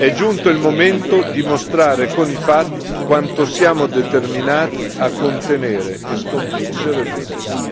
È giunto il momento di mostrare con i fatti quanto siamo determinati a contenere e sconfiggere l'ISIS.